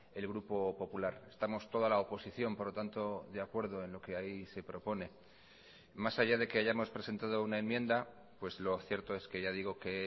el grupo popular estamos toda la oposición por lo tanto de acuerdo en lo que ahí se propone más allá de que hayamos presentado una enmienda pues lo cierto es que ya digo que